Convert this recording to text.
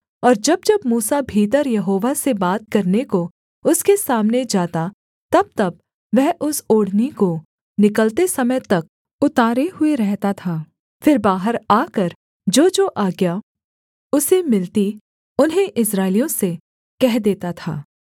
और जब जब मूसा भीतर यहोवा से बात करने को उसके सामने जाता तबतब वह उस ओढ़नी को निकलते समय तक उतारे हुए रहता था फिर बाहर आकर जोजो आज्ञा उसे मिलती उन्हें इस्राएलियों से कह देता था